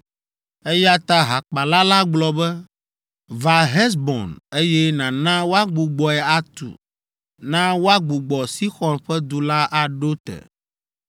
Eya ta hakpala la gblɔ be, “Va Hesbon, eye nàna woagbugbɔe atu, na woagbugbɔ Sixɔn ƒe du la aɖo te.